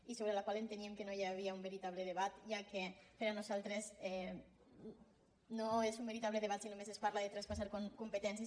i sobre la qual enteníem que no hi havia un veritable debat ja que per nosaltres no és un veritable debat si només es parla de traspas·sar competències